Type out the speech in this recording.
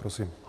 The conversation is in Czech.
Prosím.